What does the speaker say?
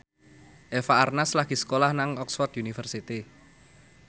Eva Arnaz lagi sekolah nang Oxford university